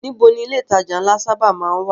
Níbo ni ilé ìtajà ńlá sábà má ń wà?